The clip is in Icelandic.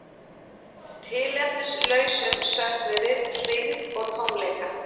Tilefnislausum söknuði, hryggð og tómleika.